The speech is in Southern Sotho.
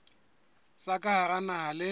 tsa ka hara naha le